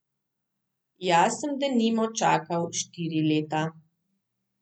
Jaz sem denimo čakal štiri leta.